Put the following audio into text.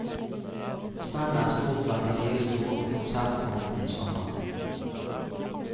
Spennet er stort blant de fire store på konsertfronten i sommer.